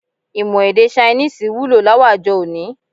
Imọ èdè Ṣainíìsì wulo láwàjọ òní